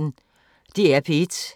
DR P1